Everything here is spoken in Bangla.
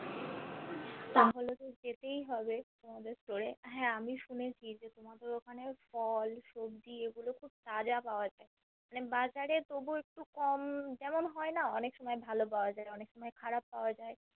তাহলে তো যেতেই হবে তোমাদের Store এ হা আমি শুনেছি যে তোমাদের ওখানে ফল সবজি এগুলো খুব তাজা পাওয়া যায় মানে বাজারে তবু একটু কম যেমন হয়না অনেক সময় ভালো পাওয়া যায় অনেক সময় খারাপ পাওয়া যায়